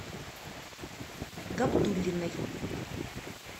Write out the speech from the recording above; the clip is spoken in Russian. габдуллиной